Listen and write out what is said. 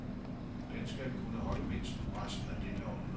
Den skal kunne holde mindst resten af dette århundrede.